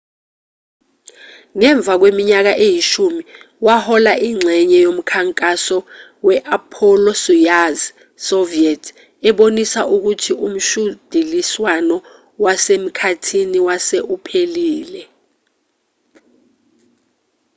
ngemva kweminyaka eyishumi wahola ingxenye yomkhankaso we-apollo-soyuz soviet ebonisa ukuthi umshudiliswano wasemkhathini wase uphelile